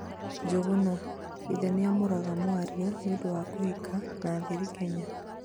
Njuguna: ithe nĩamũraga mwarĩ nĩũndũ wa 'kuhika' na thiri Kenya